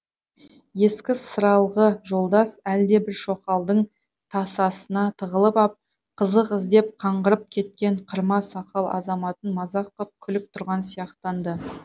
ескі сыралғы жолдас әлдебір шоқалдың тасасына тығылып ап қызық іздеп қаңғырып кеткен қырма сақал азаматын мазақ қып күліп тұрған сияқтанды